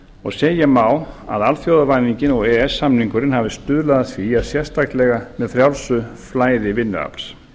og segja má að alþjóðavæðingin og e e s samningurinn hafi stuðlað að því sérstaklega með frjálsu flæði vinnuafls